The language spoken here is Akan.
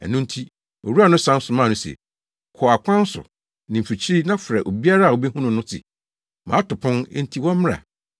“Ɛno nti owura no san somaa no se, ‘Kɔ akwan so ne mfikyiri na frɛ obiara a wubehu no no se, mato pon, enti wɔmmra.